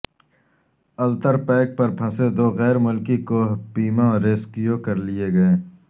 Ultar peak پر پھنسے دو غیر ملکی کوہ پیما ریسکیو کرلیے گئے